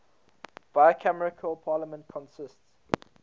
bicameral parliament consists